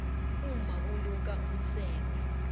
umma uluka umseme